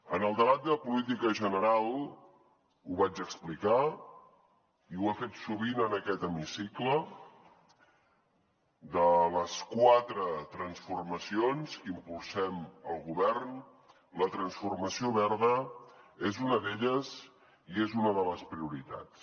en el debat de política general ho vaig explicar i ho he fet sovint en aquest hemicicle de les quatre transformacions que impulsem el govern la transformació verda és una d’elles i és una de les prioritats